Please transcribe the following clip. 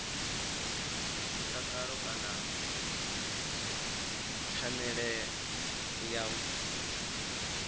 mutakalo kana phanele ya u